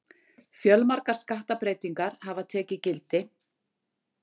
Fjölmargar skattabreytingar hafa tekið gildi